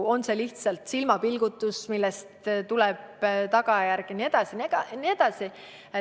On see lihtsalt silmapilgutus, millest tuleneb tagajärg?